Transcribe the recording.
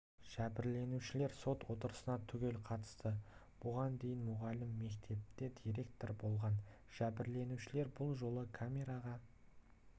жәбірленушілер сот отырысына түгел қатысты бұған дейін мұғалім мектепте директор болған жәбірленушілер бұл жолы камераға